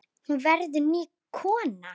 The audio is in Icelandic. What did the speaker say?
Hún verður ný kona.